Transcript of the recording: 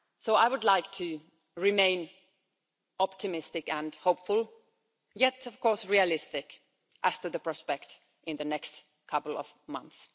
I would like to remain optimistic and hopeful, yet of course realistic as to the prospect in the next couple of months.